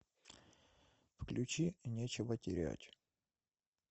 включи нечего терять